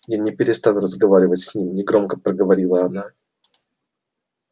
я не перестану разговаривать с ним негромко проговорила она